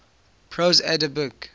prose edda book